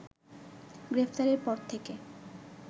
গ্রেপ্তারের পর থেকে